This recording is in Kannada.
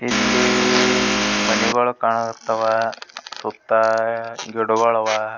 ಇಲ್ಲಿ ಮನೆಗುಳು ಕಾಣಕತ್ತವ್ ಸುತ್ತ ಗಿಡಗುಳ್ ಅವ್ .